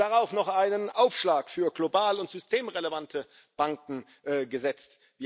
Wir haben darauf noch einen Aufschlag für global systemrelevante Banken gesetzt.